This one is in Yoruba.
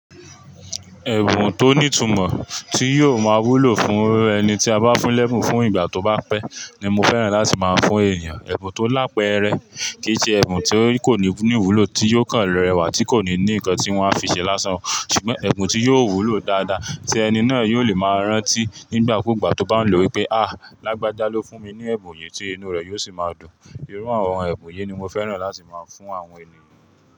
Ẹ̀bùn tó nìtumọ̀ tí yóò má wúlò fún ẹni tí a bá fún lẹ́bùn fún ìgbà tó bá pẹ́, ni mo fẹ́ràn láti máa fún èeyàn. Ẹ̀bùn tó lápeẹrẹ, kìí ṣe ẹ̀bùn tí kò ní ìwúlò tí yóò kàn rẹwà tí kò ní ní ǹkan tí wọ́n á fi ṣẹ lásán, ṣùgbọ́n ẹ̀bùn tí yóò wúlò dáadáa tí ẹni náà yóò lè máa rántí nígbàkúgbà tó bá n lọ wípé, àhh, Lágbájá ló fún mi ní ẹ̀bùn yìí tí inú rẹ̀ yóò sì máa dùn. Irú àwọn ẹ̀bùn yii ni mo fẹ́ràn láti máa fún àwọn ènìyàn.